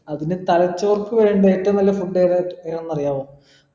അതിന് തലച്ചോർക്ക് വേണ്ട ഏറ്റവും നല്ല food ഏതാ ഏതാന്നറിയാവോ